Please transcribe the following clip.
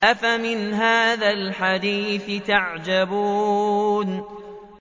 أَفَمِنْ هَٰذَا الْحَدِيثِ تَعْجَبُونَ